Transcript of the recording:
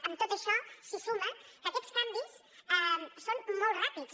a tot això s’hi suma que aquests canvis són molt ràpids